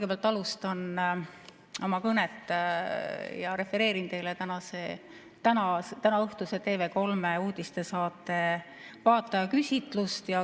Ma alustan oma kõnet, refereerides kõigepealt teile tänaõhtuse TV3 uudistesaate vaatajaküsitlust.